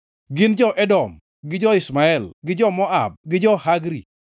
Gin jo-Edom gi jo-Ishmael, jo-Moab gi jo-Hagri,